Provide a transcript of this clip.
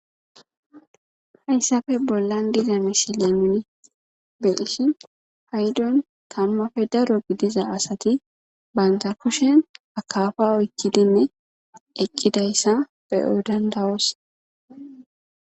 hayssappe bollan diza misile nuni beydhishhi paydon tanumappe daro gidiza asati banta kushen akafa oykkidinne eqqidayssa beyo danda,'os